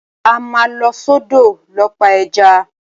A máa lọ sọ́dọ̀ lọ pa ẹja.